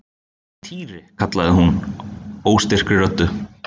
Týri! kallaði hún óstyrkri röddu.